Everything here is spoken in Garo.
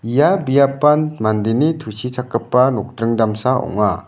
ia biapan mandeni tusichakgipa nokdring damsa ong·a.